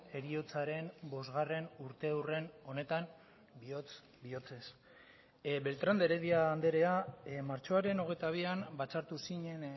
heriotzaren bosgarren urteurren honetan bihotz bihotzez beltrán de heredia andrea martxoaren hogeita bian batzartu zinen